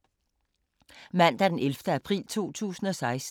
Mandag d. 11. april 2016